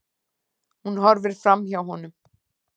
Hún horfir framhjá honum.